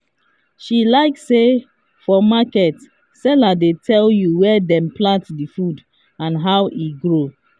she like say for market sellers dey tell you where dem plant the food and how e grow.